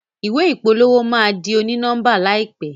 ìwé ìpolówó ma dì oni-nọmba láìpé